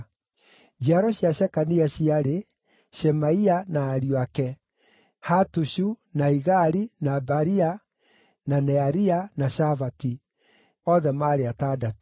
Njiaro cia Shekania ciarĩ: Shemaia na ariũ ake: Hatushu, na Igali, na Baria, na Nearia, na Shafati; othe maarĩ atandatũ.